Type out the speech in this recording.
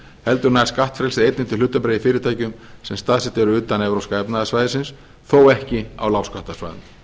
heldur nær skattfrelsið einnig til hlutabréfa í fyrirtækjum sem staðsett eru utan evrópska efnahagssvæðisins þó ekki á lágskattasvæðum